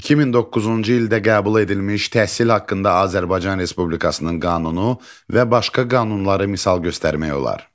2009-cu ildə qəbul edilmiş təhsil haqqında Azərbaycan Respublikasının qanunu və başqa qanunları misal göstərmək olar.